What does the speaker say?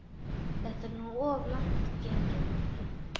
Þetta er nú of langt gengið, Nikki.